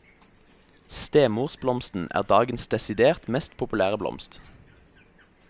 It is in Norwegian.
Stemorsblomsten er dagens desidert mest populære blomst.